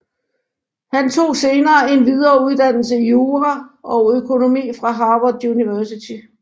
Han tog senere en videreuddannelse i jura og økonomi fra Harvard University